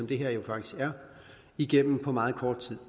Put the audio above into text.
det her jo faktisk er igennem på meget kort tid